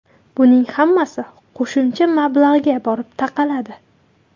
Buning hammasi qo‘shimcha mablag‘ga borib taqaladi.